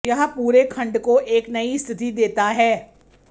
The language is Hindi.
यह पूरे खंड को एक नई स्थिति देता है